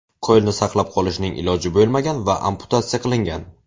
Qo‘lni saqlab qolishning iloji bo‘lmagan va amputatsiya qilingan.